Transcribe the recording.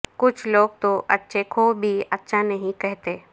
کچھ لوگ تو اچھے کو بھی اچھا نہیں کہتے